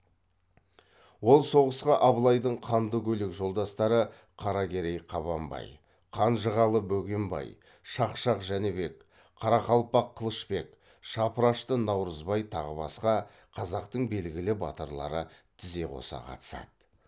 ол соғысқа абылайдың қанды көйлек жолдастары қаракерей қабанбай қанжығалы бөгенбай шақшақ жәнібек қарақалпақ қылышбек шапырашты наурызбай тағы басқа қазақтың белгілі батырлары тізе қоса қатысады